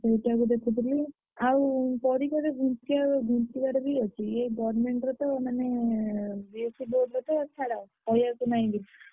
ସେଇଟା କୁ ଦେଖୁଥିଲି ଏ government ର ତ ମାନେ B.Sc board ର ତ ଛାଡ କହିଆକୁ ନାହିଁ କିଛି ।